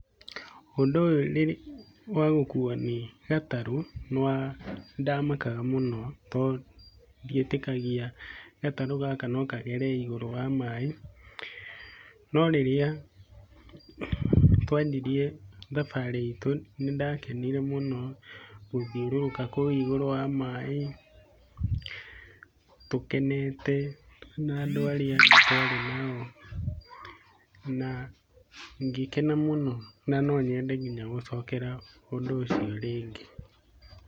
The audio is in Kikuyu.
Ũndũ ũyũ ũrĩ wa gũkuo nĩ gatarũ, nĩwa nĩndamakaga mũno tondũ ndietĩkagia gatarũ gaka no kagere igũrũ wa maĩ, no rĩrĩa twanjirie thabarĩ itũ nĩndakenire mũno. Gũthiũrũrũka kũu igũrũ wa maĩ, tũkenete twĩna andũ arĩa twarĩ nao na ngĩkena mũno na nonyende nginya gũcokera ũndũ ũcio rĩngĩ.